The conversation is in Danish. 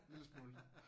Lille smule